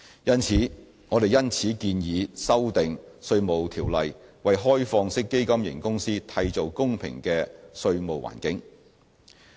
因此，我們建議修訂《稅務條例》，為開放式基金型公司締造公平的稅務環境。